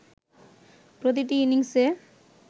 প্রতিটি ইনিংসে